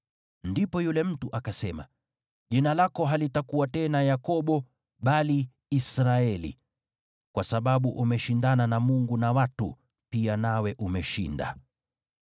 Ndipo yule mtu akasema, “Jina lako halitakuwa tena Yakobo, bali Israeli, kwa sababu umeshindana na Mungu na watu pia, nawe umeshinda.”